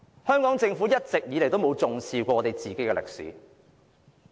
香港政府從來都沒有重視本地歷史。